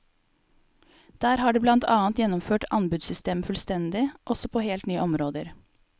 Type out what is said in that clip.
Der har de blant annet gjennomført anbudssystemet fullstendig, også på helt nye områder.